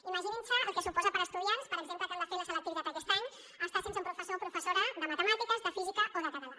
imaginin se el que suposa per a estudiants per exemple que han de fer la selectivitat aquest any estar sense un professor o professora de matemàtiques de física o de català